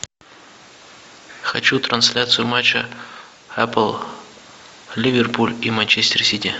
хочу трансляцию матча апл ливерпуль и манчестер сити